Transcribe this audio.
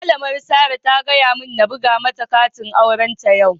Malamin Sarah ta gaya mun n'buga mata katin auren ta yau.